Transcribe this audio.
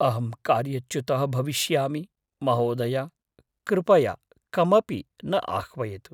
अहं कार्यच्युतः भविष्यामि, महोदय! कृपया कमपि न आह्वयतु।